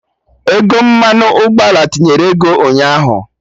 Ego mmanụ ụgbọala tinyere ego ụnyaahụ